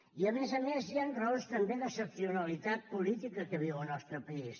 i a més a més hi han raons també d’excepcionalitat política que viu el nostre país